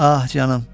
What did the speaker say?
Ah, canım.